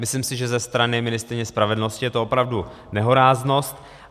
Myslím si, že ze strany ministryně spravedlnosti je to opravdu nehoráznost.